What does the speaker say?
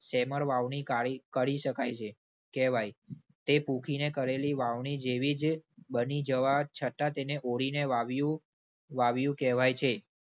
શેમર વાવણી કાળીકરી શકાય છે, કહેવાય. તે પુંખીને કરેલી વાવણી જેવી જ બની જવા છતાં તેને ઓળીને વાવ્યું, વાવ્યું કહેવાય છે.